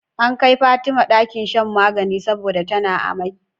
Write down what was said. An kai Fatima ɗakin shan magana saboda tana amai